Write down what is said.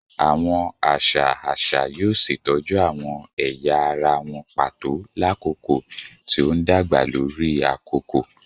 Awọn aṣa aṣa yoo ṣetọju awọn ẹya ara wọn pato lakoko ti o ndagba lori akoko